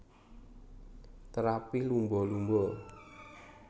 Terapi Lumba Lumba